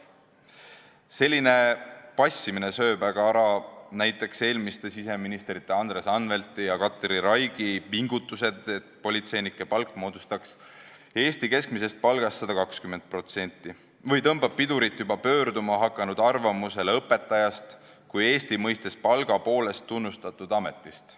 Selline passimine sööb ära näiteks eelmiste siseministrite Andres Anvelti ja Katri Raigi pingutused, et politseinike palk moodustaks võrreldes Eesti keskmise palgaga 120%, ja tõmbab pidurit juba tekkima hakanud kuvandile õpetajast kui palga poolest tunnustatud ametist.